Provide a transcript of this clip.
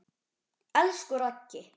Elsku Raggi.